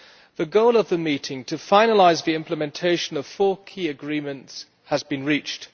The goal of the meeting to finalise the implementation of four key agreements has been reached.